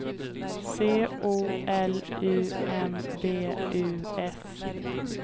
C O L U M B U S